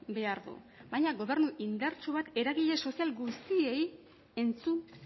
behar du baina gobernu indartsu bat eragile sozial guztiei entzun